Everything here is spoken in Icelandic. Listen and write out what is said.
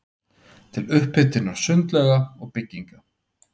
til upphitunar sundlauga og bygginga.